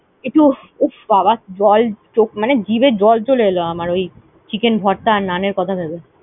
একটু উফ বাবা জল চখ মানে জিভে জল ছলে এলো আমার ওই chicken ভর্তা, আর নানের কথা ভেবে।